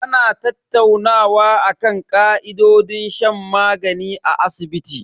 Ana tattaunawa akan ka'idojin shan magani a asibiti.